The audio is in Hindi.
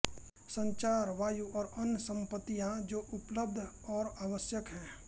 संचार वायु और अन्य संपत्तियां जो उपलब्ध और आवश्यक हैं